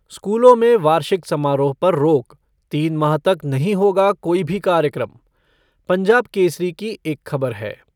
स्कूलों में वार्षिक समारोह पर रोक, तीन माह तक नहीं होगा कोई भी कार्यक्रम, पंजाब केसरी की एक खबर है।